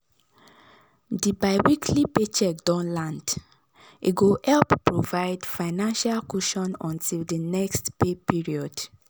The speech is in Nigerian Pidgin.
di biweekly paycheck don land e go help provide financial cushion until di next pay period